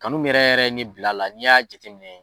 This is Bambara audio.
Kanu min yɛrɛ yɛrɛ ne bil'ala n'i y'a jate minɛ